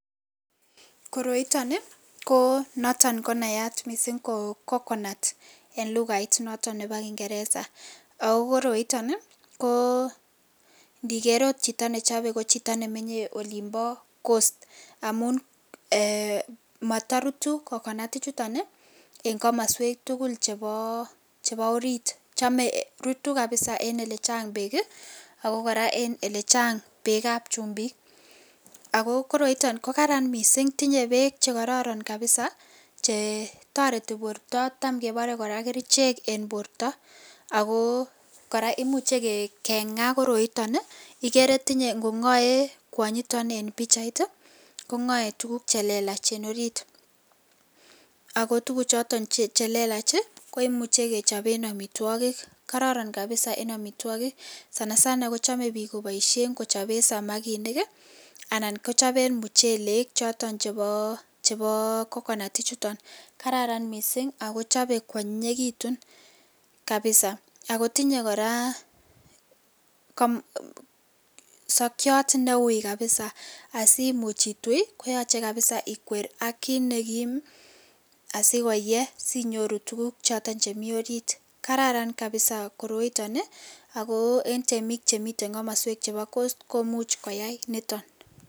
Koroi niton ko kit nnaya mising ko coconut en lugait noton Nebo kingeresa ako koroiton ko niker okot Chito nechobe ko Chito nemenye en olimbo coast amun matarutu coconut ichuton en kamaswek tugul chebo orit chrome korut kabisa en yelechang bek ak koraa en yelechang bek ab chumbik akoroiton kokararan mising tinye bek chekororon kabisa tareti borta ako Tam kebore kerchek en borta ako koraa kemuche ke Na koroiton igere tinye kongae kwanyiton en bichait kongae tuguk chelelach en orit akutuguk choton chelelach koimuchi kechapen amitwokik kararan kabisa en amitwokik sanasana chome bik kobaishen kochap samakinik anan kechapen mchelek choton chebo coconut chuton . kararan mising akechope kwanyinyikitun kabisa ak kotinye koraa sakyat neui kabisa ako simuch itui koyaache kabisa ikwer Amit nekim asikohee sinyoru tuguk choton chemii orit , kararan kabisa koroiton ako en temik Chemiten kamaswek chemii coast komuch koyai chuton